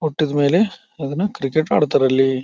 ಹೊಟ್ಟಿದ ಮೇಲೆ ಅದನ್ನ ಕ್ರಿಕೆಟ್ ಆಡ್ತಾರೆ ಅಲ್ಲಿ.